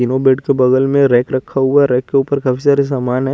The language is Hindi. तीनो बेड के बगल में रैक रखा हुआ रैक के ऊपर काफी सारी समान है।